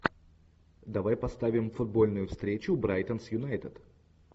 давай поставим футбольную встречу брайтон с юнайтед